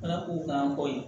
Ala k'u kan bɔ ye